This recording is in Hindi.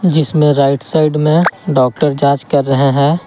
जिसमें राइट साइड में डॉक्टर जांच कर रहा है।